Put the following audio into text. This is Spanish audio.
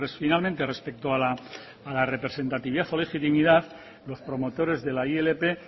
finalmente respecto a la representatividad o la legitimidad los promotores de la ilp